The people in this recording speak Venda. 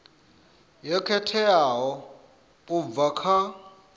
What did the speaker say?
yo khetheaho u bva kha